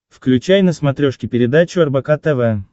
включай на смотрешке передачу рбк тв